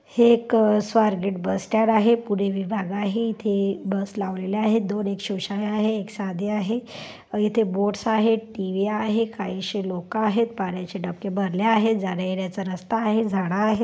हे एक Swargate bus stand आहेपुणे विभाग आहेइथे बस लावलेले आहेत दोन सोशल आहेत एक साधी आहे आणि इथे बोर्ड्स आहेत टी_वी आहेत काहीशी लोक आहेत पाण्याचे डबके भरले आहे जाण्या येण्याचा रस्ता आहे झाड आहेत.